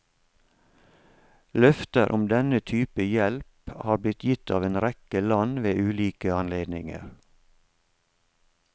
Løfter om denne type hjelp har blitt gitt av en rekke land ved ulike anledninger.